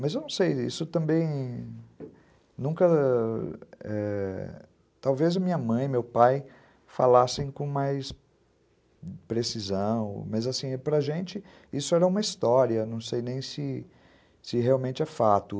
Mas eu não sei, isso também nunca... eh... Talvez minha mãe e meu pai falassem com mais precisão, mas assim, para a gente isso era uma história, não sei nem se se realmente é fato.